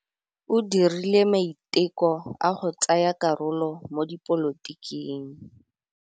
O dirile maitekô a go tsaya karolo mo dipolotiking.